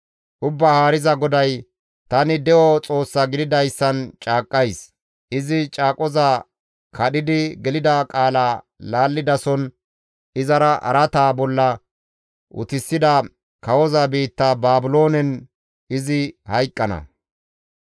«Ubbaa Haariza GODAY, ‹Tani de7o Xoossa gididayssan caaqqays: izi caaqoza kadhidi gelida qaala laallidason iza araata bolla utisida kawoza biitta Baabiloonen izi hayqqana.